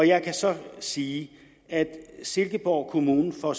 jeg kan så sige at silkeborg kommune får